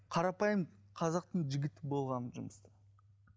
қарапайым қазақтың жігіті болғанмын жұмыста